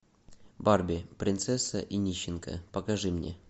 барби принцесса и нищенка покажи мне